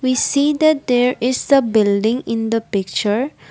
we see that there is the building in the picture .